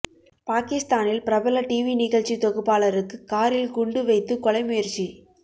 பாகிஸ்தானில் பிரபல டிவி நிகழ்ச்சி தொகுப்பாளருக்கு காரில் குண்டு வைத்து கொலை முயற்சி